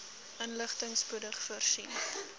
inligting spoedig voorsien